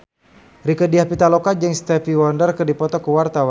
Rieke Diah Pitaloka jeung Stevie Wonder keur dipoto ku wartawan